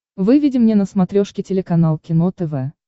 выведи мне на смотрешке телеканал кино тв